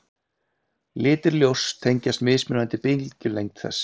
Litir ljóss tengjast mismunandi bylgjulengd þess.